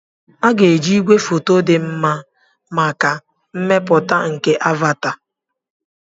A ga-eji igwefoto dị mma maka mmepụta nke "Avata."